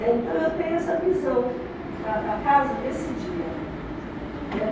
É, Então eu tenho essa visão da casa desse dia. Né.